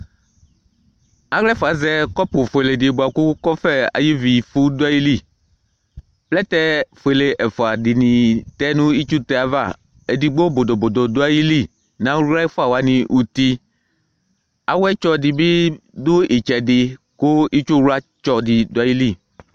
Awlaɛfua azɛ kɔpu fuele ku kɔfɛ ayu ivifu Plɛtɛ fuele ɛfua dini adu itsutɛ ayava Edigbo bodo bodo duayili nawlaɛfuawani uti awuetsɔ didu itsɛdi ku itsuwla didu ayili